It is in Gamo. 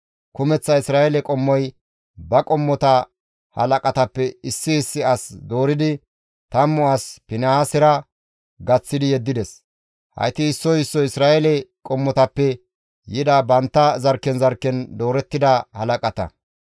Kumeththa Isra7eele qommota ba qommota halaqatappe issi issi as dooridi, tammu as Finihaasera gaththi yeddides. Hayti issoy issoy Isra7eele qommotappe yida bantta zarkken zarkken doorettida halaqata.